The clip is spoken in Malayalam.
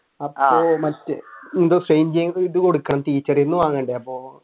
അപ്പൊ മറ്റേ എന്തോ ഇത് കൊടുക്കണം ടീച്ചർ നിന്ന് വാങ്ങുന്നുണ്ട് അപ്പൊ